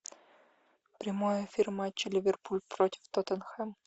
прямой эфир матча ливерпуль против тоттенхэм